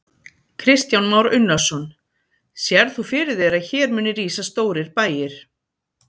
Kristján Már Unnarsson: Sérð þú fyrir þér að hér muni rísa stórir bæir?